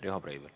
Riho Breivel.